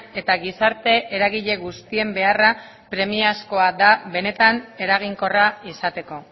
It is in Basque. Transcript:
eta gizarte eragile guztien beharra premiazkoa da benetan eraginkorra izateko